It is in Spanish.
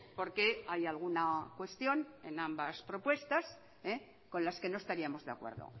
porque hay alguna cuestión en ambas propuestas con las que no estaríamos de acuerdo